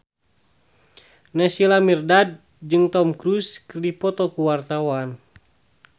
Naysila Mirdad jeung Tom Cruise keur dipoto ku wartawan